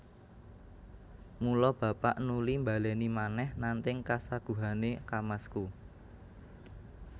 Mula bapak nuli mbalèni manèh nanting kasaguhané kamasku